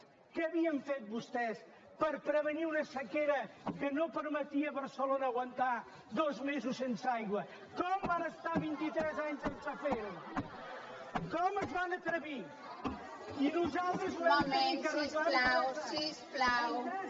què havien fet vostès per prevenir una sequera que no permetia a barcelona aguantar dos mesos sense aigua estar vint i tres anys sense fer ho com es van atrevir i nosaltres ho vam haver d’arreglar en tres anys